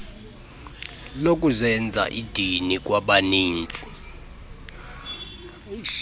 lokuzenza idini kwabaninzi